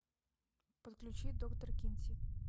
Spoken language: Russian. подключи доктор кинси